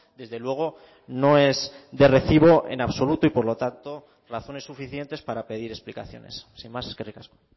desde luego no es de recibo en absoluto y por lo tanto razones suficientes para pedir explicaciones sin más eskerrik asko